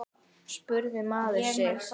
spurði maður sig.